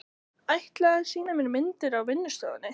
Ætlaði að sýna mér myndir á vinnustofunni.